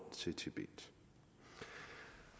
til tibet